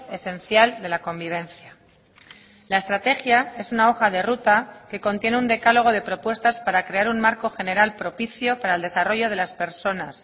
esencial de la convivencia la estrategia es una hoja de ruta que contiene un decálogo de propuestas para crear un marco general propicio para el desarrollo de las personas